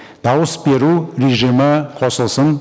дауыс беру режимі қосылсын